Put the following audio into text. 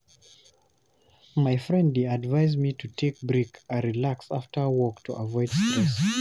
My friend dey advise me to take break and relax after work to avoid stress.